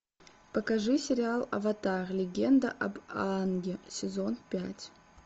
покажи сериал аватар легенда об аанге сезон пять